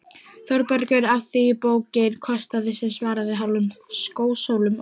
ÞÓRBERGUR: Af því bókin kostaði sem svaraði hálfum skósólum.